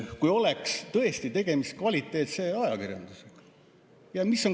Kui oleks tõesti tegemist kvaliteetse ajakirjandusega.